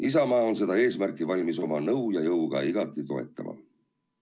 Isamaa on seda eesmärki valmis oma nõu ja jõuga igati toetama.